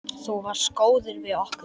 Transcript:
Þú varst góður við okkur.